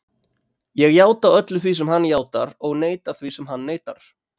Ég játa öllu því sem hann játar og neita því sem hann neitar.